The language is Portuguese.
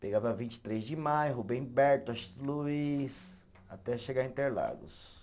Pegava a vinte e três de maio, Rubem Berto, Washington Luiz, até chegar a Interlagos.